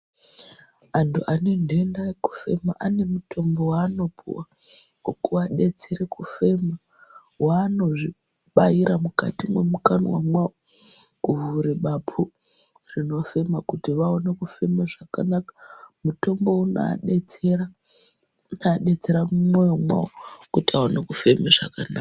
Antu ane ndenda yeku fema ane mutombo wa anopuwa weku adetsere kufema vanozvi baira mukati mwe mukanwa mwawo ku vhure bapu rino fema kuti vaone kufema zvakanaka mutombo uno adetsera mu mwoyo mwawo kuti awone kufema zvakanaka.